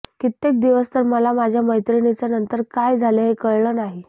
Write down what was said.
कित्येक दिवस तर मला माझ्या मैत्रिणीचं नंतर काय झालं हे कळलं नाही